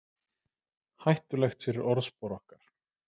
Hættulegt fyrir orðspor okkar